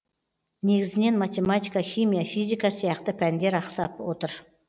негізінен математика химия физика сияқты пәндер ақсап отыр